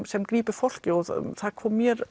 sem grípur fólkið og það kom mér